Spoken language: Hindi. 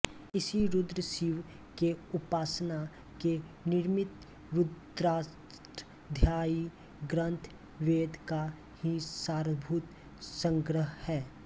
इसी रुद्र शिव के उपासना के निमित्त रुद्राष्टाध्यायी ग्रंथ वेद का ही सारभूत संग्रह है